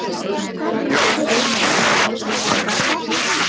Vinur, svona gerir maður ekki!